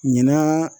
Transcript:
Ɲinan